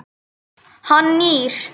Hann nýr.